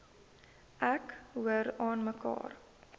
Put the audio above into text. ek hoor aanmekaar